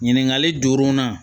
Ɲininkali jor'o na